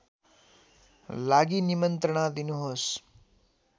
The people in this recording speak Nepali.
लागि निमन्त्रणा दिनुहोस्